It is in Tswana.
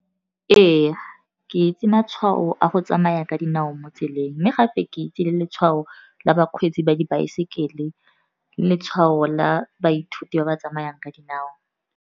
Ee, ke itse matshwao a go tsamaya ka dinao mo tseleng, mme gape ke itse letshwao la bakgweetsi ba dibaeseke, le letshwao la baithuti ba ba tsamayang ka dinao.